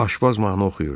Aşpaz mahnı oxuyurdu.